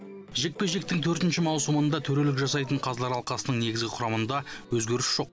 жекпе жектің төртінші маусымында төрелік жасайтын қазылар алқасының негізгі құрамында өзгеріс жоқ